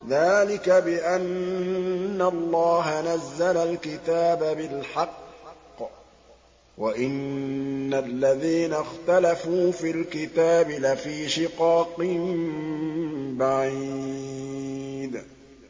ذَٰلِكَ بِأَنَّ اللَّهَ نَزَّلَ الْكِتَابَ بِالْحَقِّ ۗ وَإِنَّ الَّذِينَ اخْتَلَفُوا فِي الْكِتَابِ لَفِي شِقَاقٍ بَعِيدٍ